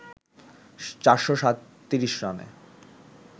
৪৩৭ রানে